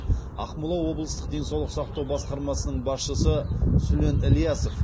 ақмола облыстық денсаулық сақтау басқармасының басшысы сүлен ілясов